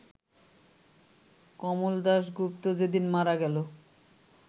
কমল দাশগুপ্ত যেদিন মারা গেল